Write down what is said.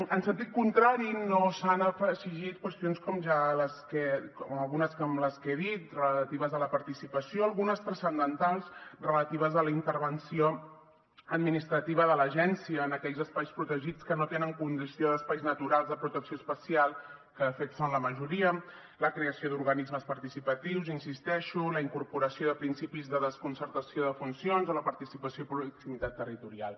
en sentit contrari no s’han exigit qüestions com algunes de les que he dit relatives a la participació algunes transcendentals relatives a la intervenció administrativa de l’agència en aquells espais protegits que no tenen condició d’espais naturals de protecció especial que de fet són la majoria la creació d’organismes participatius hi insisteixo la incorporació de principis de desconcertació de funcions o la participació de proximitat territorial